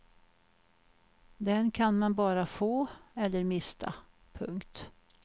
Den kan man bara få eller mista. punkt